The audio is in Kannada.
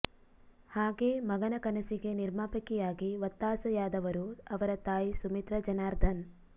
ಹಾಗೆ ಮಗನ ಕನಸಿಗೆ ನಿರ್ಮಾಪಕಿಯಾಗಿ ಒತ್ತಾಸೆಯಾದವರು ಅವರ ತಾಯಿ ಸುಮಿತ್ರಾ ಜನಾರ್ಧನ್